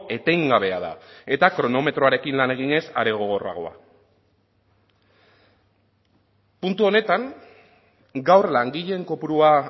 etengabea da eta kronometroarekin lan eginez are gogorragoa puntu honetan gaur langileen kopurua